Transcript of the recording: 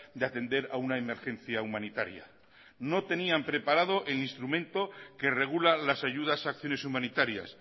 de atender a una emergencia humanitaria no tenían preparado el instrumento que regula las ayudas a acciones humanitarias